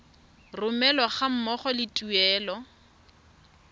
romelwa ga mmogo le tuelo